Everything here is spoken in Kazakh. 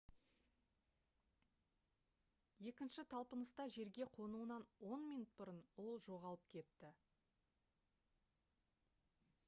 екінші талпыныста жерге қонуынан он минут бұрын ол жоғалып кетті